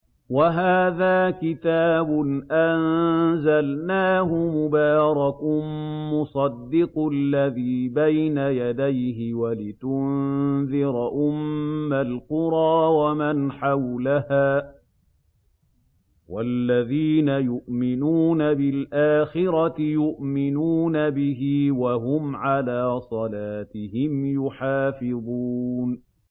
وَهَٰذَا كِتَابٌ أَنزَلْنَاهُ مُبَارَكٌ مُّصَدِّقُ الَّذِي بَيْنَ يَدَيْهِ وَلِتُنذِرَ أُمَّ الْقُرَىٰ وَمَنْ حَوْلَهَا ۚ وَالَّذِينَ يُؤْمِنُونَ بِالْآخِرَةِ يُؤْمِنُونَ بِهِ ۖ وَهُمْ عَلَىٰ صَلَاتِهِمْ يُحَافِظُونَ